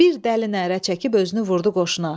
Bir dəli nərə çəkib özünü vurdu qoşuna.